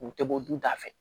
U tɛ bɔ du ta fɛ